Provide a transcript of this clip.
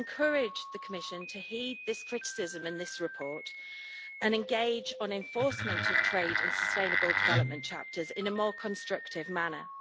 I would encourage the Commission to heed this criticism in this report and engage on enforcement of trade and sustainable development chapters in a more constructive manner.